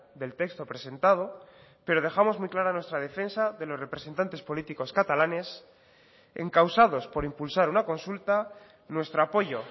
del texto presentado pero dejamos muy clara nuestra defensa de los representantes políticos catalanes encausados por impulsar una consulta nuestro apoyo